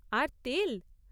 আর তেল?